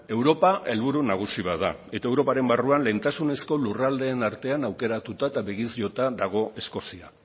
europa helburu nagusi bat da eta europaren barruan lehentasunezko lurraldeen artean aukeratuta eta begiz jota dago eskozia